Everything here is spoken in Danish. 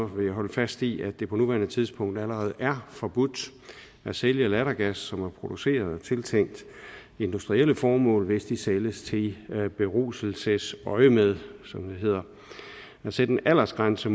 vil jeg holde fast i at det på nuværende tidspunkt allerede er forbudt at sælge lattergas som er produceret til industrielle formål hvis det sælges i beruselsesøjemed som det hedder at sætte en aldersgrænse